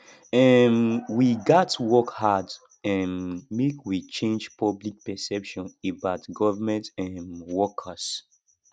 um we gats work hard um make we change public perception about government um workers